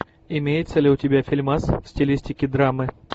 имеется ли у тебя фильмас в стилистике драмы